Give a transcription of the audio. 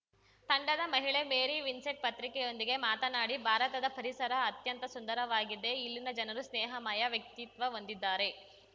ತಂಡದ ಮಹಿಳೆ Mary Vincent ಪತ್ರಿಕೆಯೊಂದಿಗೆ ಮಾತನಾಡಿ ಭಾರತದ ಪರಿಸರ ಅತ್ಯಂತ ಸುಂದರವಾಗಿದೆ ಇಲ್ಲಿನ ಜನರು ಸ್ನೇಹಮಯ ವ್ಯಕ್ತಿತ್ವ ಹೊಂದಿದ್ದಾರೆ